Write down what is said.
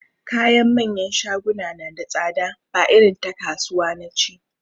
Kayan manyan shaguna na da tsada ba irin ta kasuwa nace